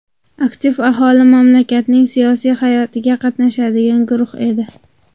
Aktiv aholi mamlakatning siyosiy hayotiga qatnashadigan guruh edi.